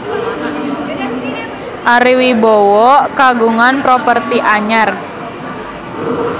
Ari Wibowo kagungan properti anyar